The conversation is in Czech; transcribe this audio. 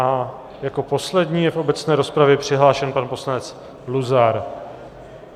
A jako poslední je v obecné rozpravě přihlášen pan poslanec Luzar.